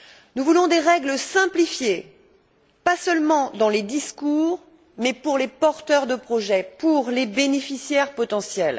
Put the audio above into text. Nous voulons des règles simplifiées, pas seulement dans les discours, mais pour les porteurs de projets, pour les bénéficiaires potentiels.